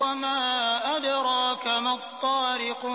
وَمَا أَدْرَاكَ مَا الطَّارِقُ